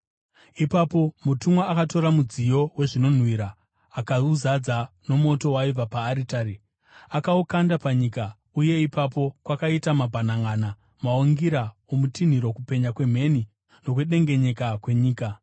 Ipapo mutumwa akatora mudziyo wezvinonhuhwira, akauzadza nomoto waibva paaritari, akaukanda panyika; uye ipapo kwakaita mabhananʼana, maungira okutinhira, kupenya kwemheni nokudengenyeka kwenyika.